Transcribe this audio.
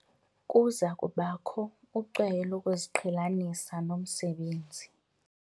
Kuza kubakho ucweyo lokuziqhelanisa nomsebenzi.